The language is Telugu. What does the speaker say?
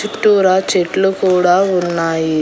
చుట్టూరా చెట్లు కూడా ఉన్నాయి.